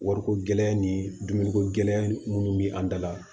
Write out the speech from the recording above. Wariko gɛlɛ ni dumuniko gɛlɛya minnu bɛ an da la